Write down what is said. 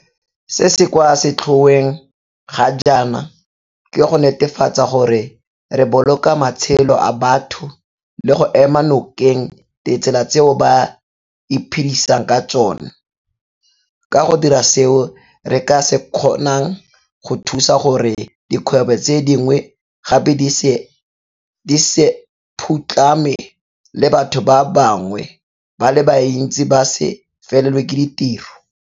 Se se kwa setlhoeng ga jana ke go netefatsa gore re boloka matshelo a batho le go ema nokeng ditsela tseo ba iphedisang ka tsona, ka go dira seo re ka se kgonang go thusa gore dikgwebo tse dingwe gape di se phutlhame le batho ba bangwe ba le bantsi ba se felelwe ke ditiro.